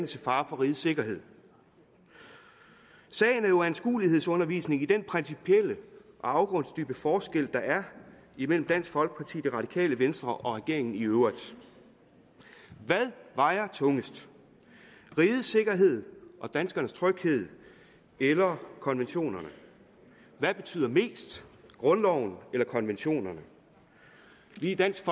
til fare for rigets sikkerhed sagen er jo anskuelighedsundervisning i den principielle og afgrundsdybe forskel der er imellem dansk folkeparti det radikale venstre og regeringen i øvrigt hvad vejer tungest rigets sikkerhed og danskernes tryghed eller konventionerne hvad betyder mest grundloven eller konventionerne i dansk